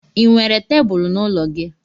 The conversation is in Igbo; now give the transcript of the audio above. Ị nwere tebulu n'ụlọ gị?